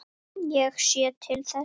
Ég sé til þess.